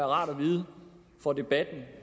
rart at vide for debatten